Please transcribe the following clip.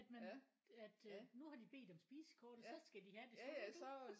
Nåmen at øh nu har det bedt om spisekortet så skal de havde det skal de ikke det?